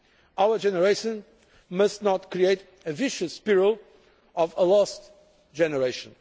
Our generation must not create the vicious spiral of a lost generation.